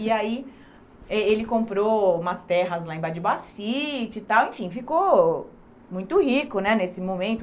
E aí eh ele comprou umas terras lá em Badbacite e tal, enfim, ficou muito rico né nesse momento,